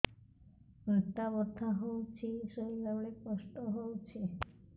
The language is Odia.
ଅଣ୍ଟା ବଥା ହଉଛି ଶୋଇଲା ବେଳେ କଷ୍ଟ ହଉଛି